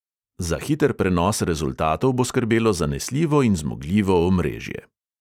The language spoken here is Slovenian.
Za hiter prenos rezultatov bo skrbelo zanesljivo in zmogljivo omrežje.